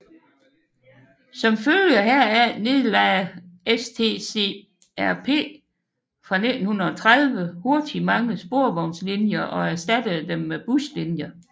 Som følger heraf nedlagde STCRP fra 1930 hurtigt mange sporvognslinjer og erstattede dem med buslinjer